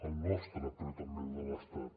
el nostre però també el de l’estat